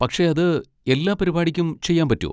പക്ഷെ അത് എല്ലാ പരിപാടിക്കും ചെയ്യാൻ പറ്റോ?